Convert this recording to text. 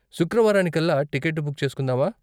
శుక్రవారానికల్లా ticket book చేసుకుందామా?